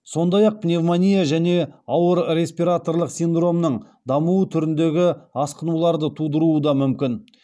сондай ақ пневмония және ауыр респираторлық синдромның дамуы түріндегі асқынуларды тудыруы да мүмкін